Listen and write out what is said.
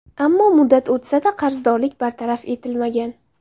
Ammo muddat o‘tsa-da, qarzdorlik bartaraf etilmagan.